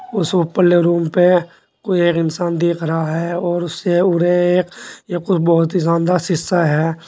उस ऊपर ले रूम पे कोई एक इंसान देख रहा है और उस से उरे एक एक कोई बहुत ही शानदार शीशा है।